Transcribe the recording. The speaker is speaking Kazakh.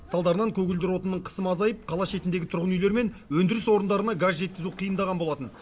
салдарынан көгілдір отынның қысымы азайып қала шетіндегі тұрғын үйлер мен өндіріс орындарына газ жеткізу қиындаған болатын